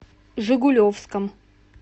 жигулевском